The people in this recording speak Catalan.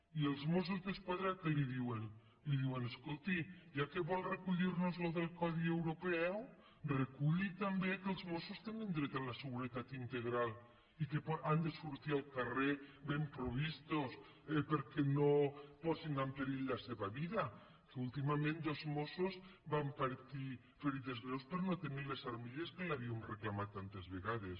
i els mossos d’esquadra què li duen li diuen escol·ti ja que vol recollir·nos això del codi europeu reculli també que els mossos tenen dret a la seguretat integral i que han de sortir al carrer ben previstos perquè no posin en perill la seva vida que últimament dos mos·sos van patir ferides greus per no tenir les armilles que li havíem reclamat tantes vegades